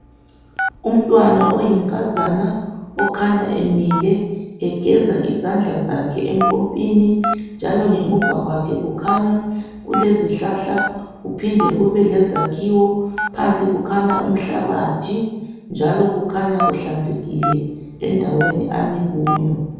Umntwana oyinkazana, okhanya emile egeza izandla zakhe empompini, njalo ngemuva kwakhe kukhanya kulezihlahla kuphinde kube lezakhiwo, phansi kukhanya umhlabathi, njalo kukhanya kuhlanzekile endaweni ami kuyo.